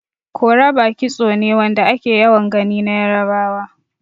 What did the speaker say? Koroba kitso ne Wanda ake yawan Gani na yarbawa.